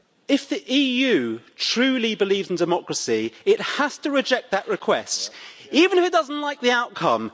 If the EU truly believes in democracy, it has to reject that request, even if it doesn't like the outcome.